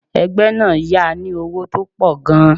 Ẹgbẹ́ náà yá a ní owó tó pọ̀ gan-an.